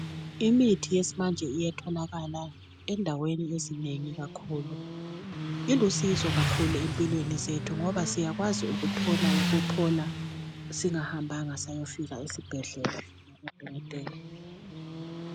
Imithi yesimanje iyatholakala endaweni ezinengi kakhulu ilusizo kakhulu empilweni zethu ngoba siyakwazi ukuthola ukuphola singahambanga safika esibhedlela kubodokotela